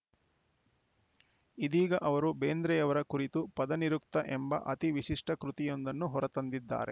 ಇದೀಗ ಅವರು ಬೇಂದ್ರೆಯವರ ಕುರಿತು ಪದನಿರುಕ್ತ ಎಂಬ ಅತಿವಿಶಿಷ್ಟಕೃತಿಯೊಂದನ್ನು ಹೊರತಂದಿದ್ದಾರೆ